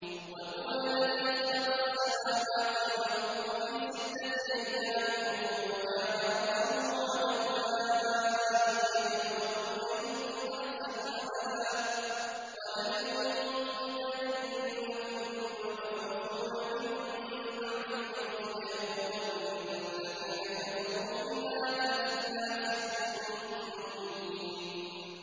وَهُوَ الَّذِي خَلَقَ السَّمَاوَاتِ وَالْأَرْضَ فِي سِتَّةِ أَيَّامٍ وَكَانَ عَرْشُهُ عَلَى الْمَاءِ لِيَبْلُوَكُمْ أَيُّكُمْ أَحْسَنُ عَمَلًا ۗ وَلَئِن قُلْتَ إِنَّكُم مَّبْعُوثُونَ مِن بَعْدِ الْمَوْتِ لَيَقُولَنَّ الَّذِينَ كَفَرُوا إِنْ هَٰذَا إِلَّا سِحْرٌ مُّبِينٌ